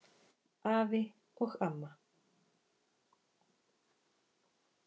Afi og amma.